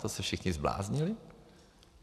To se všichni zbláznili?